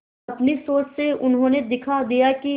अपनी सोच से उन्होंने दिखा दिया कि